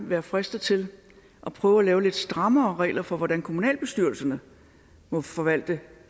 være fristet til at prøve at lave lidt strammere regler for hvordan kommunalbestyrelserne må forvalte